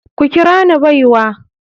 Ku kira ni baiwa.